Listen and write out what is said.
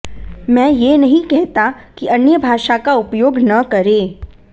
मैं यह नहीं कहता कि अन्य भाषा का उपयोग न करें